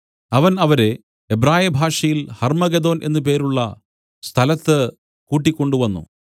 അവൻ അവരെ എബ്രായ ഭാഷയിൽ ഹർമ്മഗെദ്ദോൻ എന്നു പേരുള്ള സ്ഥലത്ത് കൂട്ടിക്കൊണ്ട് വന്നു